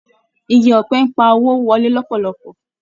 Ìgi ọ̀pẹ ń pa owó wọlé lòpòlopò